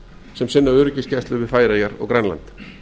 sem eiga öryggisgæslu við færeyjar og grænland